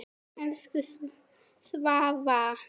Elsku Svava.